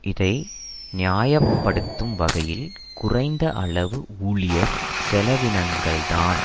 இதை நியாய படுத்தும் வகையில் குறைந்த அளவு ஊழியர் செலவினங்கள்தான்